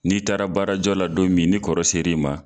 N'i taara baarajɔ la don min ni kɔrɔ ser' i ma